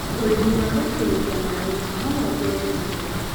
ũrĩmi wa gũitĩrĩria maĩ no wongerere magetha